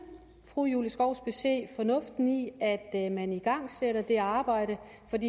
fru julie skovsby se fornuften i at at man igangsætter det arbejde